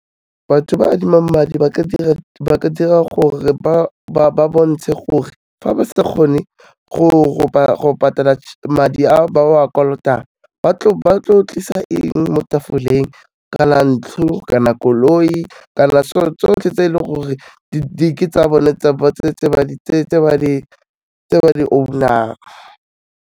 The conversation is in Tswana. Batho ba adimang madi, ba ka dira gore ba bontshe gore fa ba sa kgone go ropa go patala, madi ao ba wa kolotang, ba tlisa eng mo tafoleng ka na ntlo, ka na koloi, kana tsotlhe tse e leng gore ke tsa bone tse ba di-owner-ng.